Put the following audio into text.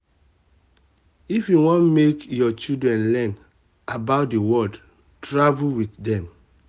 if you want make um your children learn about the um world travel with dem. um